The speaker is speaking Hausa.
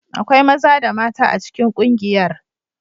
Akwai maza da mata a cikin kungiyar.